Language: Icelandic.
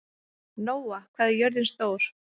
Nóa, hvað er jörðin stór?